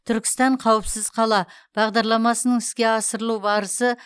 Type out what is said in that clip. түркістан қауіпсіз қала бағдарламасының іске асырылу барысы